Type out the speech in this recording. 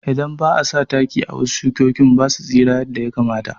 Idan ba'a sa taki a wasu shukinba basu tsira yadda ya kamata